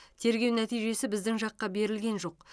тергеу нәтижесі біздің жаққа берілген жоқ